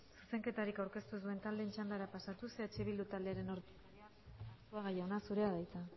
zuzenketarik aurkeztu ez duen taldeen txandara pasatuz eh bildu taldearen ordezkaria den arzuaga jauna zurea da hitza